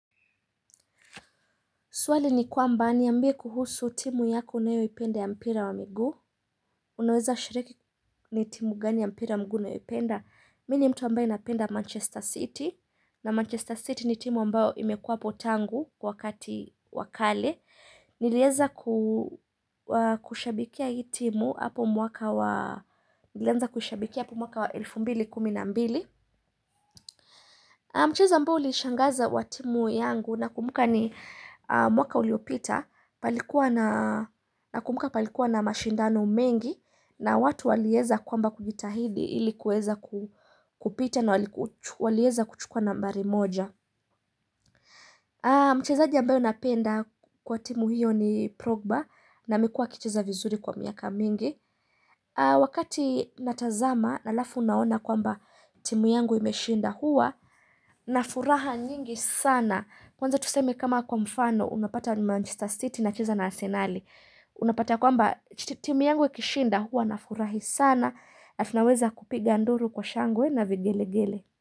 Swali ni kwamba ni ambie kuhusu timu yako unayo ipenda ya mpira wa migu. Unaweza shiriki ni timu gani ya mpira mgu na ipenda. Mini mtu ambaye napenda Manchester City. Na Manchester City ni timu ambayo imekua hapotangu wakati wakale. Nilieleza kushabikia hii timu hapo mwaka wa 2012. Mchezo ambao ulishangaza wa timu yangu na kumbuka ni mwaka uliopita. Na kumbuka palikuwa na mashindano mengi na watu waliyeza kwamba kujitahidi ilikuweza kupita na waliyeza kuchukua nambari moja mchezaji ambayo napenda kwa timu hiyo ni Progba na amekuwa akicheza vizuri kwa miaka mingi wakati natazama alafu naona kwamba timu yangu imeshinda hua na furaha nyingi sana kwanza tuseme kama kwa mfano unapata Manchester City inacheza na arsenali Unapata kwa mba timi yangu ikishinda huwa na furahi sana na tunaweza kupiga nduru kwa shangwe na vigelegele.